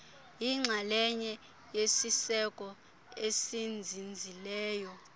yixalenye yesiseko esinzinzileyo